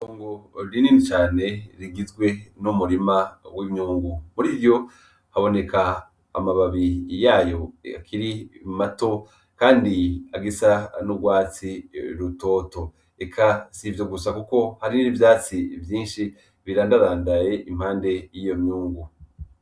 Itongo rinini cane rigizwe n'umurima w'imyungu, muri ryo haboneka amababi yayo akiri mato kandi agisa n'urwatsi rutoto, eka sivyo gusa kuko hariho n'ivyatsi vyinshi birandarandaye impande y'iyo myungu.